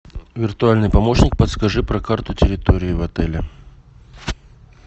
виртуальный помощник подскажи про карту территории в отеле